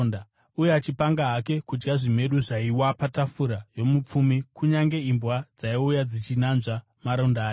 uye achipanga hake kudya zvimedu zvaiwa patafura yomupfumi. Kunyange imbwa dzaiuya dzichinanzva maronda ake.